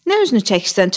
Nə üzünü çəkirsən?